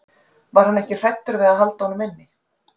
Var hann ekki hræddur við að halda honum inni?